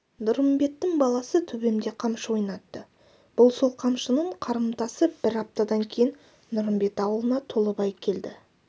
нұрымбеттің баласы төбемде қамшы ойнатты бұл сол қамшының қарымтасы бір аптадан кейін нұрымбет аулына толыбай келді